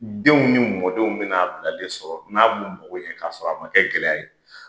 Denw ni mɔdenw bi na'a bilalen sɔrɔ n'a b'u mɔgɔ ɲɛ k'a sɔrɔ a ma kɛ gɛlɛya ye.